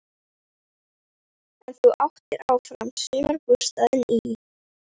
En þú áttir áfram sumarbústaðinn í